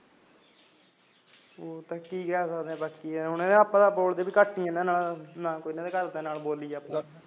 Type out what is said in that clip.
ਹਾਂ ਬਾਈ ਕੀ ਕਹਿ ਸਕਦੇ ਐ ਆਪਾਂ ਤਾਂ ਬੋਲਦੇ ਵੀ ਘੱਟ ਇਹਨਾਂ ਨਾਲ ਕੋਣ ਇਨਾਂ ਦੇ ਘਰਦਿਆਂ ਨਾਲ ਬੋਲੀ ਜਾਉਗਾ